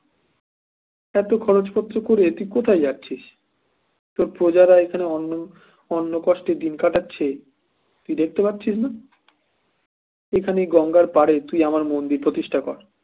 এত খরচপত্র করে তুই কোথায় যাচ্ছিস তোর প্রজারা এখানে অন্ন অন্ন কষ্টে দিন কাটাচ্ছে তুই দেখতে পাচ্ছিস না এখানে এই গঙ্গার পাড়ে তুই আমার মন্দির প্রতিষ্ঠা কর